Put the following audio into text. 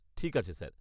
ঠিক আছে স্যার।